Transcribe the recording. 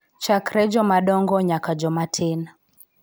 Chakre jomadongo nyaka joma tin.